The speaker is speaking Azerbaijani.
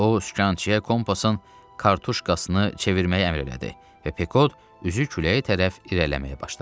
O, sükançıya kompasın kartuşkasını çevirməyi əmr elədi və Pekod üzü küləyə tərəf irəliləməyə başladı.